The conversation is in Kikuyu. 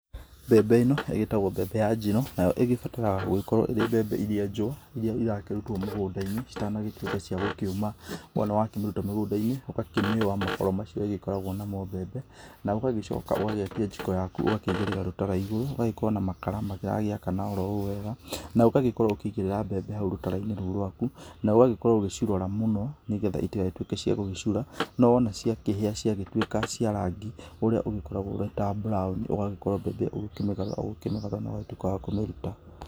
Mbembe ĩno ĩgĩtagwo mbembe ya njino, nayo igĩbataraga gũgĩkorwo ĩrĩ mbembe ĩrĩa njũa, ĩrĩa ĩrakĩrũtwo mũgũnda-inĩ itanagĩtuĩka cia gũkĩũma, wana wakĩmĩruta mũgũnda-inĩ ũgakĩmĩũa makoro macio ĩgĩkoragwo namo mbembe, na ũgagĩcoka ũgagĩakia jĩko yaku ũgakĩigĩrĩra rũtara igũrũ ũgagĩkorwo na makara maragĩakana oro wega, na ũgagĩkorwo ũkĩigĩrĩra mbembe hau rũtara-inĩ rũu rwaku na ũgagĩkorwo ũgĩcirora mũno nĩgetha itigagĩtũike cia gũgĩcura, no wona ciagĩtũika cia rangi ũrĩa ũgĩkoragwo wĩta buraoni ũgagĩkorwo ũgĩkĩmĩgarũra ũkĩmĩgarũra na ũgagĩtuĩka wa gũkĩmĩruta.